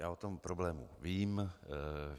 Já o tom problému vím.